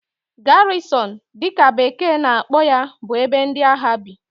Garrison' dị ka bekee na-akpọ ya bụ ebe ndị agha bi